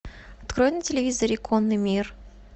открой на телевизоре конный мир